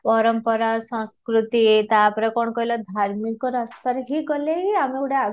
ପରମ୍ପରା ସଂସ୍କୃତି ତା'ପରେ କ'ଣ କହିଲ ଧାର୍ମିକ ରାସ୍ତାରେ ହିଁ ଗଲେ ଆମକୁ ଗୋଟେ ଆଗକୁ